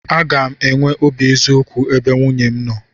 Aga m enwe obi eziokwu ebe nwunye m nọ.